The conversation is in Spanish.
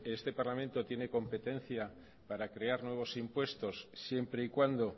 este parlamento tiene competencia para crear nuevos impuestos siempre y cuando